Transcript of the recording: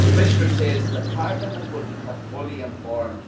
The Commissioner says that Parliament will be kept fully informed.